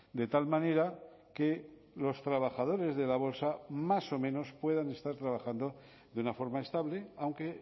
de tal manera que los trabajadores de la bolsa más o menos puedan estar trabajando de una forma estable aunque